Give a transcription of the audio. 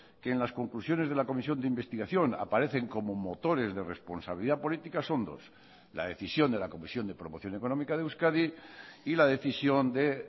que en las conclusiones de la comisión de investigación aparecen como motores de responsabilidad política son dos la decisión de la comisión de promoción económica de euskadi y la decisión de